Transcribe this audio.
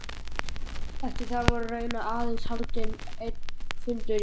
Eftir þar var raunar aðeins haldinn einn fundur í